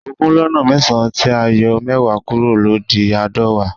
Ogún lọ́nà mẹ́sàn tí a yọ mẹ́wàá kúrò ló di aadọwa